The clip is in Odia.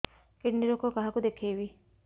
କିଡ଼ନୀ ରୋଗ କାହାକୁ ଦେଖେଇବି